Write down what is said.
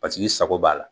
Paseke i sago b'a la